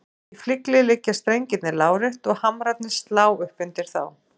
Í flygli liggja strengirnir lárétt og hamrarnir slá upp undir þá.